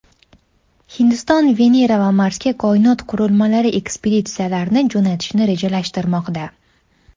Hindiston Venera va Marsga koinot qurilmalari ekspeditsiyalarini jo‘natishni rejalashtirmoqda.